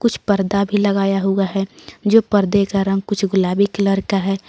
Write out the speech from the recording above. कुछ पर्दा भी लगाया हुआ है जो पर्दे का रंग कुछ गुलाबी कलर का है।